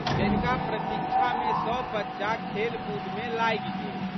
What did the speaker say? जनिका प्रतीक्षामे सब बच्चा खेलकूदमे लागि गेल।